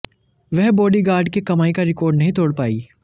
वह बॉडीगार्ड के कमाई का रिकॉर्ड नहीं तोड़ पाई